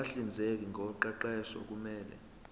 abahlinzeki ngoqeqesho kumele